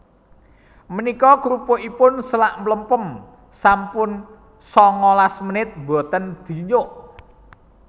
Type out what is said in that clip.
Menika krupukipun selak mlempem sampun sangalas menit mboten dinyuk